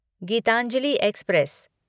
Geetanjali express